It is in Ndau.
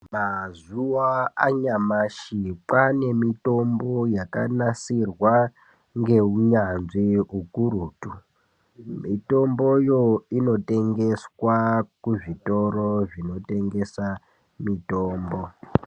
Mazuva anyamashi kwane mitombo yakanasirwa ngeunyanzvi hukurutu. Mitomboyo inotengeswa kuzvitoro zvinotengesa mitombo.